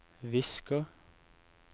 visker